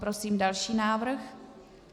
Prosím další návrh.